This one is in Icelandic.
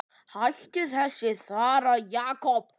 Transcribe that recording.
Hættu þessu þvaðri, Jakob.